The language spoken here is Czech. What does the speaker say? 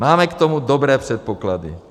Máme k tomu dobré předpoklady.